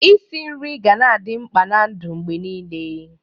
Isi nri ga-na adị mkpa na-ndụ mgbe niile.